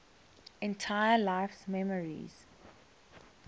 entire life's memories